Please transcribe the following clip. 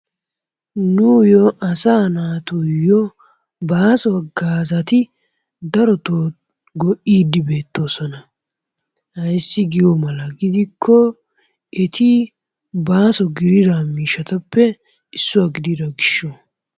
Nuuyyo asaa naatuyyo baaso haggaazati darotoo go'iiddi beettoosona. Ayssi giyo mala gidikko eti baaso gidira miishshatuppe issuwa gidiro gishshawu.